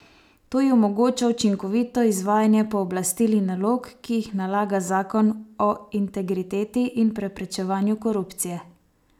To ji omogoča učinkovito izvajanje pooblastil in nalog, ki jih nalaga zakon o integriteti in preprečevanju korupcije.